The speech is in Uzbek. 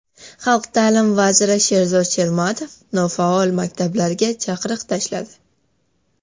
Xalq ta’limi vaziri Sherzod Shermatov nofaol maktablarga chaqiriq tashladi .